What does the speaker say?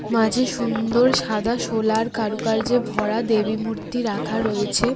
মাঝে সুন্দর সাদা শোলার কারুকার্যে ভরা দেবী মূর্তি রাখা রয়েছে।